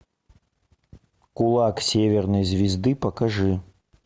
кулак северной звезды покажи